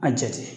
A jate